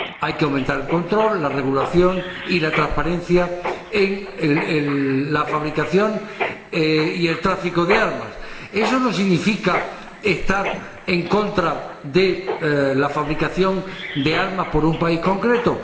Hay que aumentar el control, la regulación y la transparencia en la fabricación y en el tráfico de armas. Eso no significa estar en contra de la fabricación de armas por un país concreto.